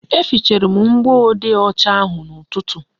E fichara m mgbode ọcha ahụ n'ụtụtụ